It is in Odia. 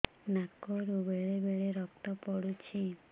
ନାକରୁ ବେଳେ ବେଳେ ରକ୍ତ ପଡୁଛି